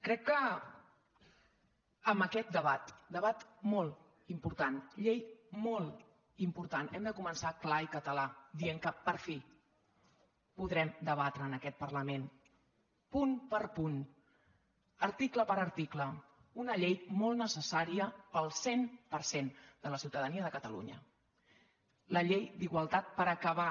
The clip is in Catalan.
crec que amb aquest debat debat molt important llei molt im·portant hem de començar clar i català dient que per fi podrem debatre en aquest parlament punt per punt ar·ticle per article una llei molt necessària per al cent per cent de la ciutadania de catalunya la llei d’igualtat per acabar